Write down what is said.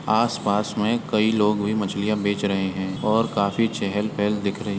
आसपास मे कई लोग भी मछलियां बेच रहे हैं और काफी चहल -पहल दिख रही --